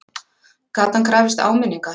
Gat hann krafist áminningar?